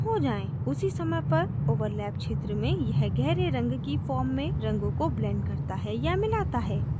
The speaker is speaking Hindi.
उसी समय पर overlap क्षेत्र में यह गहरे रंग की form में रंगों को blends करता है या मिलाता है